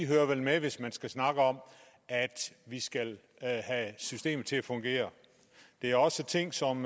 hører med hvis man skal snakke om at vi skal have systemet til at fungere det er også ting som